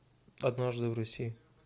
однажды в россии